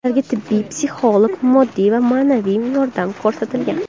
Ularga tibbiy, psixologik, moddiy va ma’naviy yordam ko‘rsatilgan.